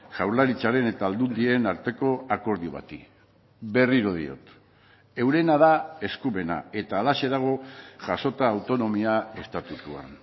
jaurlaritzaren eta aldundien arteko akordio bati berriro diot eurena da eskumena eta halaxe dago jasota autonomia estatutuan